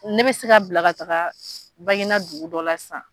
Ne bɛ se ka bila ka taaga Banginda dugu dɔ la sisan.